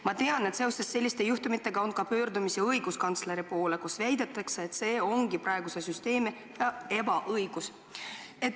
Ma tean, et seoses selliste juhtumitega on ka pöördutud õiguskantsleri poole ja seal on väidetud, et selles seisnebki praeguse süsteemi ebaõiglus.